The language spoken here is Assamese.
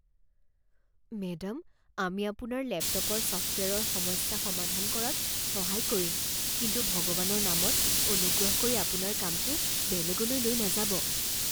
মেডাম আমি আপোনাৰ লেপটপৰ ছফ্টৱেৰৰ সমস্যা সমাধান কৰাত সহায় কৰিম কিন্তু ভগৱানৰ নামত অনুগ্ৰহ কৰি আপোনাৰ কামটো বেলেগলৈ লৈ নাযাব।